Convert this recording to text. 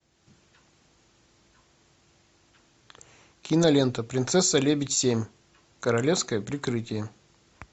кинолента принцесса лебедь семь королевское прикрытие